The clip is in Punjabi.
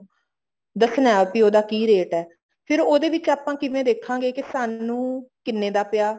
ਦੱਸਣਾ ਵੀ ਉਹਦਾ ਕੀ ਰੇਟ ਆ ਫ਼ੇਰ ਉਹਦੇ ਵਿੱਚ ਆਪਾਂ ਕਿਵੇਂ ਦੇਖਾਂਗੇ ਸਾਨੂੰ ਕਿੰਨੇ ਦਾ ਪਿਆ